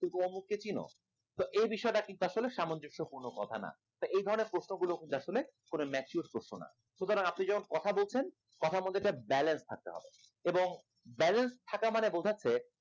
তুমি কি অমুক কে চেনো তো এই বিষয়টা কিন্তু আসলে সামঞ্জস্যপূর্ণ কথা না এই ধরনের প্রশ্নগুলো কিন্তু আসলে কোন mature প্রশ্ন না সুতরাং আপনি যখন কথা বলছেন কথার মধ্যে একটা balance থাকতে হবে এবং balance থাকা মানে বোঝাচ্ছে